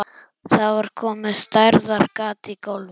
Það var komið stærðar gat í gólfið.